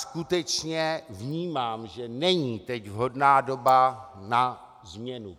Skutečně vnímám, že není teď vhodná doba na změnu.